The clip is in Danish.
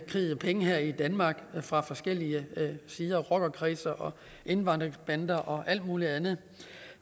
kridhvide penge her i danmark fra forskellige miljøer rockerkredse og indvandrerbander og alt muligt andet